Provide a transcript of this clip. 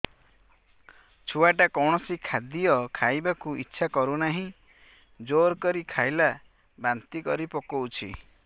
ଛୁଆ ଟା କୌଣସି ଖଦୀୟ ଖାଇବାକୁ ଈଛା କରୁନାହିଁ ଜୋର କରି ଖାଇଲା ବାନ୍ତି କରି ପକଉଛି